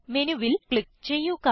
Menuൽ click ചെയ്യുക